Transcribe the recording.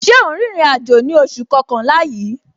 Ṣé o ń rìnrìn àjò ní oṣù kọkànlá yìí?